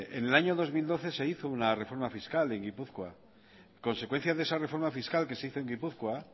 en el año dos mil doce se hizo una reforma fiscal en gipuzkoa a consecuencia de esa reforma fiscal que se hizo en gipuzkoa